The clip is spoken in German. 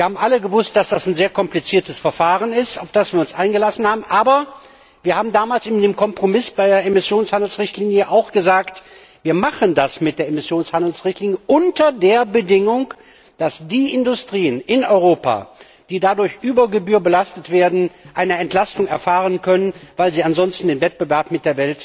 Wir haben alle gewusst, dass es ein sehr kompliziertes Verfahren ist, auf das wir uns eingelassen haben, aber wir haben damals in dem Kompromiss bei der Emissionshandels Richtlinie auch gesagt Wir machen das mit der Emissionshandels Richtlinie unter der Bedingung, dass die Industrien in Europa, die dadurch über Gebühr belastet werden, eine Entlastung erfahren können, weil sie ansonsten den Wettbewerb mit